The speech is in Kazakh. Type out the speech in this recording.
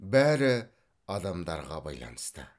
бәрі адамдарға байланысты